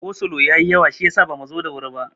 Go slo ya yi yawa shiyasa bamu zo da wuri ba.